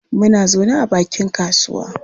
Muna zaune a bakin kasuwa.